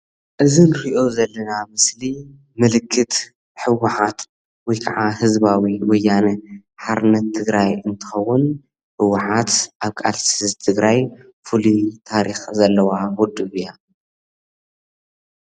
እዚ እንሪኦ ዘለና ምስሊ ምልክት ህወሓት ወይ ክዓ ህዝባዊ ወያነ ሓርነት ትግራይ እንትከውን ህወሓት ኣብ ቃልሲ ህዝቢ ትግራይ ፍሉይ ታሪክ ዘለዋ ውድብ እያ፡፡